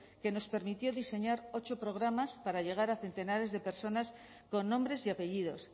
que nos permitió diseñar ocho programas para llegar a centenares de personas con nombres y apellidos